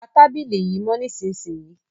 Pa tábìlì yìí mọ́ nísìsiyìí!